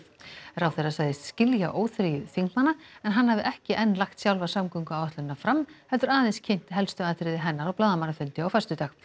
ráðherra sagðist skilja óþreyju þingmanna en hann hafi ekki enn lagt sjálfa samgönguáætlunina fram heldur aðeins kynnt helstu atriði hennar á blaðamannafundi á föstudag